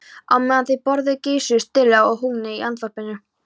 Á meðan þau borðuðu geisuðu styrjaldir og hungursneyðir í útvarpinu.